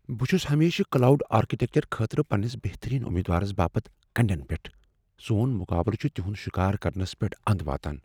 بہٕ چھس ہمیشہٕ کلاوڈ آرکیٹیکچر خٲطرٕ پننس بہترین امیدوارس باپت كنڈین پیٹھ ۔ سون مقابلہٕ چھُ تِہُند شِكار كرنس پیٹھ اند واتان ۔